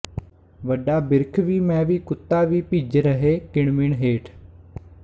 ਵੱਡਾ ਬਿਰਖ਼ ਵੀ ਮੈਂ ਵੀ ਕੁੱਤਾ ਵੀ ਭਿੱਜ ਰਹੇ ਕਿਣਮਿਣ ਹੇਠ